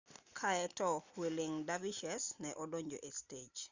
kaeto whirling dervishes ne odonjo e stej